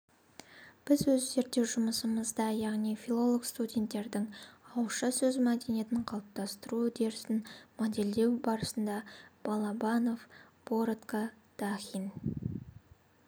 біз өз зерттеу жұмысымызда яғни филолог-студенттердің ауызша сөз мәдениетін қалыптастыру үдерісін модельдеу барысында балабанов борытко дахин